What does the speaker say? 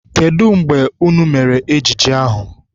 Kedụ mgbe unu mere ejije ahụ?